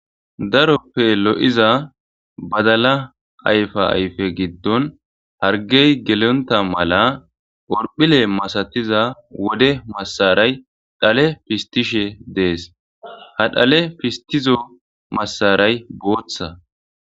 Daroppe lo'iza badala ayfa ayfe giddon hargey gelonta mala orphile masatiza wode massaray dhale pistishe dees ha dhale fistizo massaray booththa.